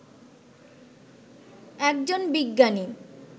একজন বিজ্ঞানী